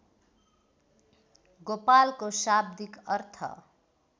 गोपालको शाब्दिक अर्थ